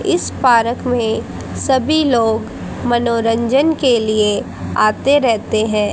इस पारक में सभी लोग मनोरंजन के लिए आते रहते है।